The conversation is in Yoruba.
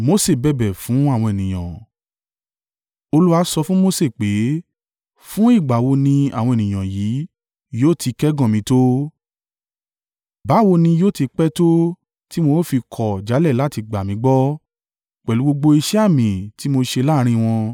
Olúwa sọ fún Mose pé, “Fún ìgbà wo ni àwọn ènìyàn yìí yóò ti kẹ́gàn mi tó? Báwo ni yóò ti pẹ́ tó tí wọ́n ó fi kọ̀ jálẹ̀ láti gbà mí gbọ́, pẹ̀lú gbogbo iṣẹ́ àmì tí mo ṣe láàrín wọn?